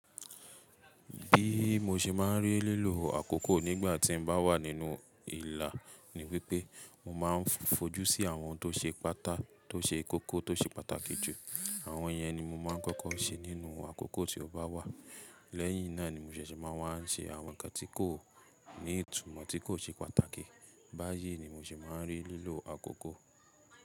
Bí mo ṣe máa ń rí lílo àkókò nígbà tí mo bá wà nínú ìlà ní wípé, mo máa ń fojú sí àwọn tó ṣe pátá tó ṣe kókó tó ṣe pàtàkì jù. Àwọn yen ni mo máa ń kọ́kọ́ ṣe nínú àkókò tí ó bá wà. Lẹ́yìn náà ni mo ṣẹ̀ṣẹ̀ máa ń wá ṣe àwọn ǹkan tí kò ní ìtumọ́ tí kò ṣe pàtàkì. Bá yé ni mo ṣe máa ń rí lílo àkókò.